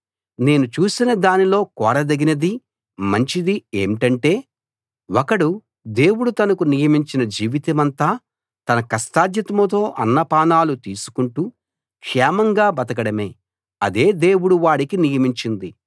నేను చూసిన దానిలో కోరదగినది మంచిది ఏంటంటే ఒకడు దేవుడు తనకు నియమించిన జీవితమంతా తన కష్టార్జితంతో అన్నపానాలు తీసుకుంటూ క్షేమంగా బతకడమే అదే దేవుడు వాడికి నియమించింది